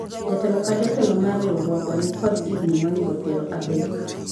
jatelo ka jatelo mar riwruogwa nikod higni moingo piero adek